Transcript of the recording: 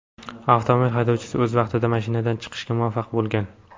Avtomobil haydovchisi o‘z vaqtida mashinadan chiqishga muvaffaq bo‘lgan.